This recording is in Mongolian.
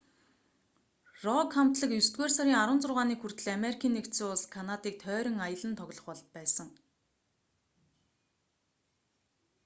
рок хамтлаг есдүгээр сарын 16-ныг хүртэл америкийн нэгдсэн улс канадыг тойрон аялан тоглох байсан